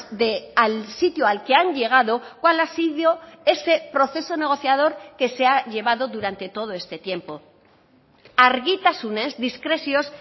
de al sitio al que han llegado cuál ha sido ese proceso negociador que se ha llevado durante todo este tiempo argitasunez diskrezioz